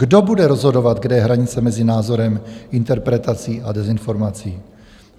Kdo bude rozhodovat, kde je hranice mezi názorem, interpretací a dezinformací?"